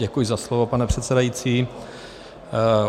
Děkuji za slovo, pane předsedající.